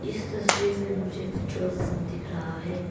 इस तस्वीर में मुझे पेट्रोल पंप दिख रहा है।